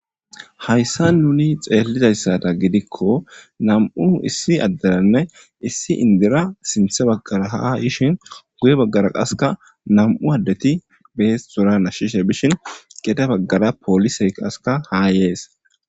hayssa nuni xeellizayssada gidikko nam7u issi adderanne issi indira sinthe baggara ha ishin guye baggara qaska nam7u addeti bees sora nashishe bishin gede baggara poolisey qaska haa yees